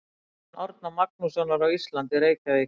Stofnun Árna Magnússonar á Íslandi, Reykjavík.